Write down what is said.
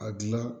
A gilan